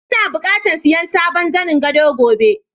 lna buƙatan siya sabon zanen godo gobe.